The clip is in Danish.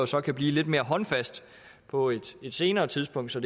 så kan blive lidt mere håndfast på et senere tidspunkt så